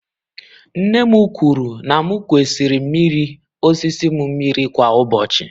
Nne m kwuru na m kwesịrị mmiri osisi m mmiri kwa ụbọchị.